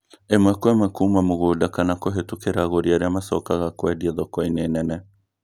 Īmwe Kwa ĩmwe Kuma mũgũnda kana kũhetukira agũri arĩa macokaga kuendia thokoinĩ nene